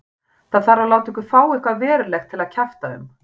Það þarf að láta ykkur fá eitthvað verulegt til að kjafta um.